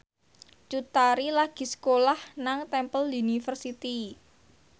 Cut Tari lagi sekolah nang Temple University